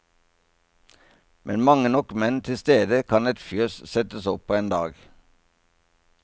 Med mange nok menn til stede kan et fjøs settes opp på én dag.